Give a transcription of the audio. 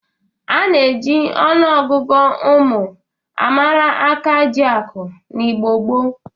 A na-eji ọnụọgụgụ ụmụ a mara akajiakụ n'Igbo gboo.